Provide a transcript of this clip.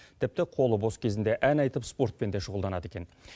тіпті қолы бос кезінде ән айтып спортпен де шұғылданады екен